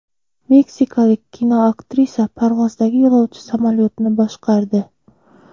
Meksikalik kinoaktrisa parvozdagi yo‘lovchi samolyotni boshqardi.